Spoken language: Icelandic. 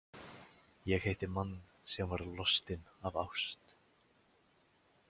Ég hitti mann sem var lostinn af ást.